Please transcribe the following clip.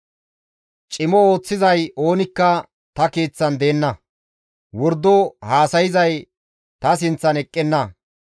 Cimo ooththizay oonikka ta keeththan deenna; wordo haasayzay ta sinththan eqqenna.